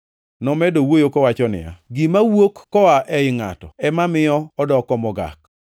Nomedo wuoyo kowacho niya, “Gima wuok koa ei ngʼato ema miyo odoko mogak.